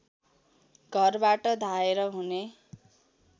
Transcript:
घरबाट धाएर हुने